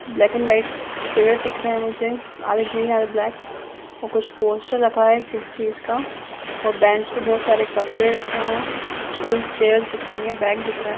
Black and white पेड़ दिख रहे है मुझे आधे ग्रीन आधे ब्लैक और कुछ पोस्टर रखा है किसी चीज का और बेंच पे बहोत सारे कपड़े रखे हैं स्टूलस चेयर्स दिख रहे है बेग दिख रहा है।